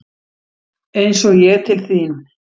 Eins og ég til þín?